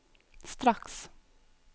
straks